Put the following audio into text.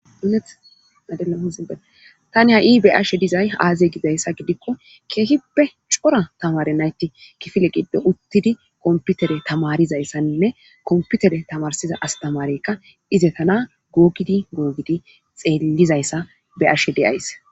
Alethadea hozibe tani ha7i be ashe dizay aazye gidayssa gidikko keehippe cora tamare nayti kifile giddo uttidi komputere tamarizayssaninne komputere tamarsiza astamarekka ize tana googidi googidi xeellizayssa be ashe di7ays